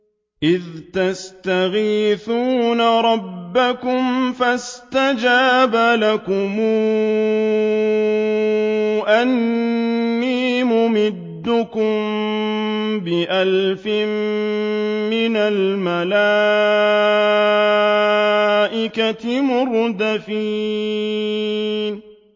إِذْ تَسْتَغِيثُونَ رَبَّكُمْ فَاسْتَجَابَ لَكُمْ أَنِّي مُمِدُّكُم بِأَلْفٍ مِّنَ الْمَلَائِكَةِ مُرْدِفِينَ